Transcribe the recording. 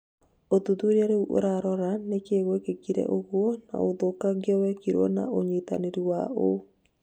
ũthuthuria rĩu ũrarora nĩkĩĩ gwekĩka ũgũo, na ũthũkangia wĩkirwo na ũnyitwanĩri wa ũ?